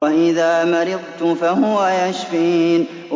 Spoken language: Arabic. وَإِذَا مَرِضْتُ فَهُوَ يَشْفِينِ